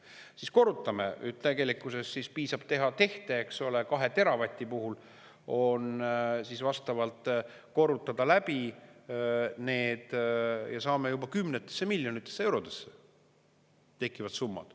Siis korrutame, tegelikkuses piisab teha tehte, eks ole, 2 teravati puhul on siis vastavalt korrutada läbi need ja saame juba kümnetesse miljonitesse eurodesse tekivad summad.